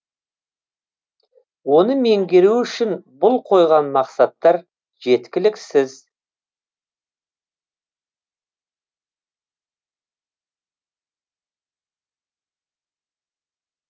оны меңгеру үшін бұл қойған мақсаттар жеткіліксіз